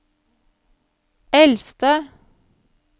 eldste